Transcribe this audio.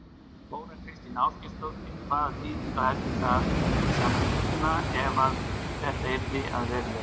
Þóra Kristín Ásgeirsdóttir: Hvaða þýðingu hefði það fyrir Samfylkinguna ef að þetta yrði að veruleika?